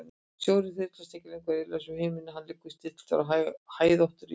Snjórinn þyrlast ekki lengur eirðarlaus um himininn, hann liggur stilltur á hæðóttri jörð.